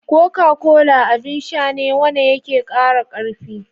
Coca-cola abin Sha ne wa na ya ke kara karfi